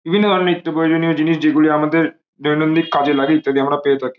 বিভিন্ন ধরনের নিত্য প্রয়োজনীয় জিনিস যেগুলি আমাদের দৈনন্দিন কাজে লাগে ইত্যাদি আমরা পেয়ে থাকি।